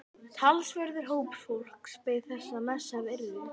Talsverður hópur fólks beið þess að messað yrði.